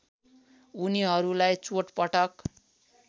उनीहरूलाई चोटपटक